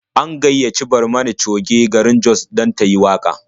An gayyaci Barmani Coge garin Jos dan tayi waƙa.